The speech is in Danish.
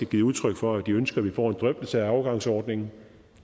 givet udtryk for at de ønsker at vi får en drøftelse af overgangsordningen